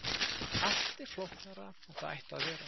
allt er flóknara en það ætti að vera